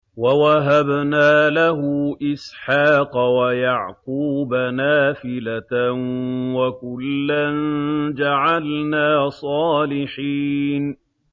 وَوَهَبْنَا لَهُ إِسْحَاقَ وَيَعْقُوبَ نَافِلَةً ۖ وَكُلًّا جَعَلْنَا صَالِحِينَ